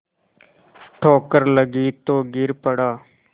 ठोकर लगी तो गिर पड़ा